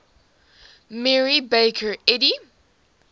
mary baker eddy